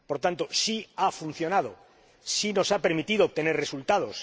Por tanto, sí ha funcionado, sí nos ha permitido obtener resultados.